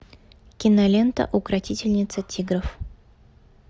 кинолента укротительница тигров